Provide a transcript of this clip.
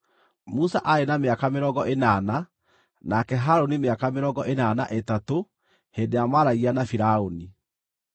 Musa aarĩ na mĩaka mĩrongo ĩnana nake Harũni mĩaka mĩrongo ĩnana na ĩtatũ hĩndĩ ĩrĩa maaragia na Firaũni.